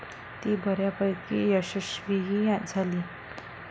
ती बऱ्यापैकी यशस्वीही झाली.